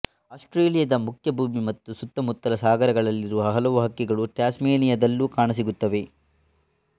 ಆಸ್ಟ್ರೇಲಿಯಾದ ಮುಖ್ಯ ಭೂಮಿ ಮತ್ತು ಸುತ್ತಮುತ್ತಲ ಸಾಗರಗಳಲ್ಲಿರುವ ಹಲವು ಹಕ್ಕಿಗಳು ಟ್ಯಾಸ್ಮೆನಿಯಾದಲ್ಲೂ ಕಾಣಸಿಗುತ್ತವೆ